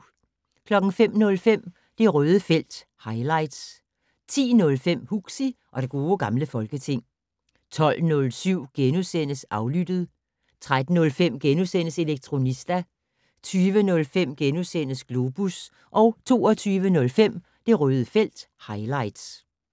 05:05: Det Røde felt - highlights 10:05: Huxi og det gode gamle folketing 12:07: Aflyttet * 13:05: Elektronista * 20:05: Globus * 22:05: Det Røde felt - highlights